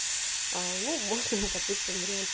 возможно допустим вариант